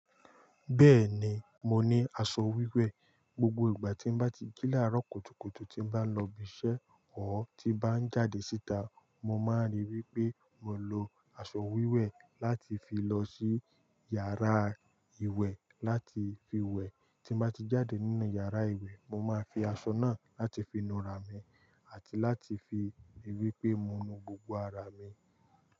Bẹ́ẹ̀ni, mo ní aṣọ wíwẹ̀. Gbogbo ìgbà tí n bá ti jí laàró kùtùkùtù tí n bá lọ ibi iṣẹ́ ọ́r tí n bá ń jáde síta, mo máa ń rí pé mo lo aṣọ wíwẹ̀ láti fi lọ sí yàrá ìwẹ̀ láti fi wẹ̀. Tí n bá ti jáde nínú yàrá ìwẹ̀, mo máa fi aṣọ náà láti fi nu ara mi àti láti fi rí wípé mo nu gbogbo ara mi.